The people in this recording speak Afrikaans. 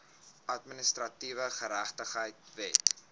administratiewe geregtigheid wet